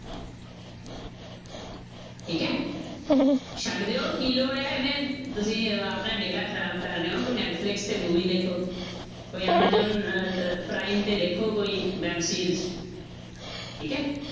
ਠੀਕ ਹੈ, ਛੱਡ ਦਿਓ ਕੀ ਲੋੜ ਹੈ ਐਵੇਂ ਤੁਸੀਂ ਆਪਣਾ data ਖ਼ਰਾਬ ਕਰਦੇ ਹੋ ਕੋਈ ਨੈਟਫਲਿਕਸ ਤੇ movie ਦੇਖੋ, ਕੋਈ ਐਮਾਜੋਨ ਅਹ ਅਹ ਪ੍ਰਾਈਮ ਤੇ ਦੇਖੋ ਕੋਈ ਵੈਬ ਸੀਰਜ ਠੀਕ ਹੈ।